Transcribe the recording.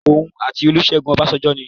Òun àti Olúṣẹ́gun Ọbásanjọ́ ni.